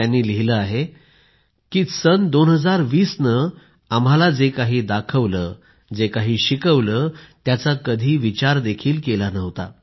त्यांनी लिहिले आहे की 2020 ने आम्हाला जे काही दाखवले जे शिकवले त्याचा कधी विचार देखील केला नव्हता